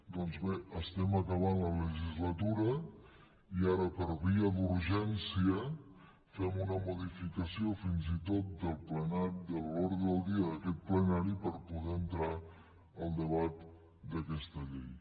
doncs bé estem acabant la legislatura i ara per via d’urgència fem una modificació fins i tot de l’ordre del dia d’aquest plenari per poder hi entrar el debat d’aquesta llei